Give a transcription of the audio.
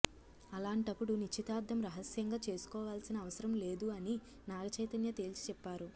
అలాంటపుడు నిశ్చితార్థం రహస్యంగా చేసుకోవాల్సిన అవసరం లేదు అని నాగ చైతన్య తేల్చి చెప్పారు